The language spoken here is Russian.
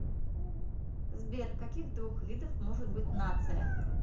сбер каких двух видов может быть нация